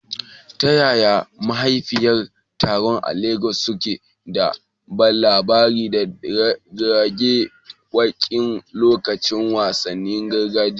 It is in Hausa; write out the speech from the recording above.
Ta yaya mahalarta taron a Legas suke ba da labari da rera waƙoƙi a lokacin wasannin gargajiya?